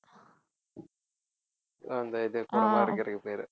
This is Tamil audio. அஹ் அந்த இது கூடை மாதிரி இருக்கிறதுக்கு பேரு